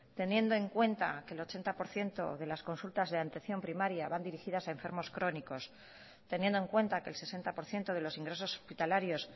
teniendo en cuenta que el ochenta por ciento de las consultas de atención primaria van dirigidas a enfermos crónicos teniendo en cuenta que el sesenta por ciento de los ingresos hospitalarios